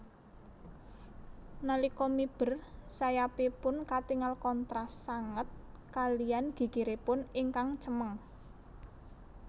Nalika miber sayapipun katingal kontras sanget kaliyan gigiripun ingkang cemeng